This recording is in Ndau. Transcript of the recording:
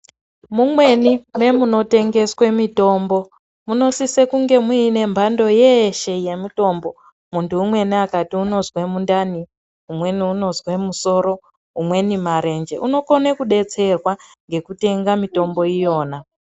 Mumweni me muno tengeswe mitombo muno sise kunge muine mbando yeshe ye mitombo muntu umweni akati unozwe mundani umweni unozwe musoro umweni marenje unokone kudetserwa ngekutenga mitombo iyona.